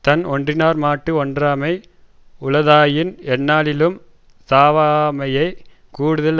தன் ஒன்றினார்மாட்டு ஒன்றாமை உளதாயின் எந்நாளினும் சாவாமையைக் கூடுதல்